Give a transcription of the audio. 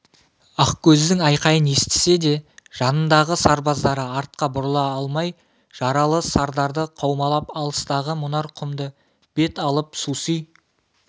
ақкөздің айқайын естісе де жанындағы сарбаздары артқа бұрыла алмай жаралы сардарды қаумалап алыстағы мұнар құмды бет алып суси